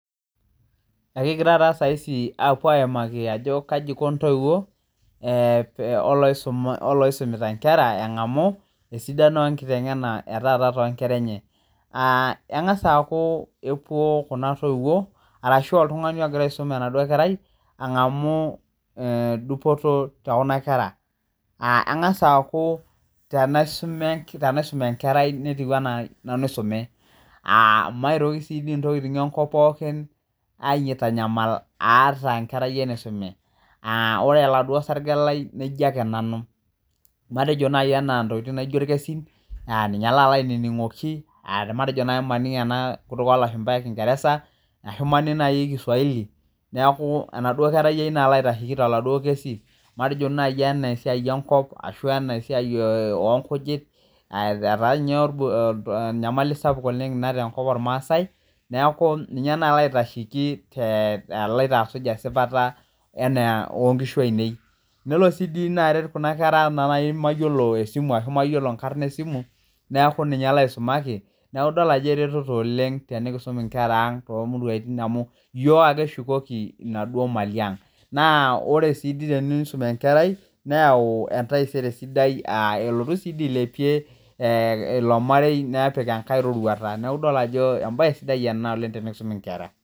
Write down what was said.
Ekigiraa taa saaisi aapuo aimaki ajo kaji eiko intoiwuo olooisumita enkera enengamu esidano enkitengena etaata too nkera enye , engasaa aku epuo kuna toiwuo arashu oltungani ogira aisum enaduo kerai angamu dupoto te kuna kera engasaa aaku tenaisum enkerai netiu enaa nanu oisume a maitoki sii dii ntokiting enkop pookin aitanyamal aata enkerayiai naisume ore oladuo sarge lai naijo ake nanu amu amtejo naaji anaa intokiting naijo ilkesin ninye laalo aininingoki matejo naaji maning ena kutuk oo lashumpaa ekingeresa ashu maaning naaji kiswahili neeku enaduo kerai ai nalo aitasheki toladuo kesi matejo naaji enaa esiai enkop arashu esiai oo nkujit etaa ninye enyamali sapuk oleng inaa tenkop olmaasai neeku ninye naalo aitasheki aloito asuj esipata oo nkishu ainei nelo si nelo naaret kuna kera enaa naji mayiolo esimu ashuu inkarn esimu neeku ninye laisumaki neeku idol ajo eretoto oleng tenikiisum inkera ang toomuruaitin amuu iyiok ake eshukoki inaduo mali ang naa ore sii tenisuum enkerai neyau entaisere sidai aa elotu sii dii ailepie ilo marei nepik enkae roruaata neeku idol ajo embae sidai oleng tenikisuum inkera.